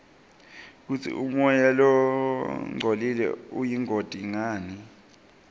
kutsi umoya longcolile uyingoti ngani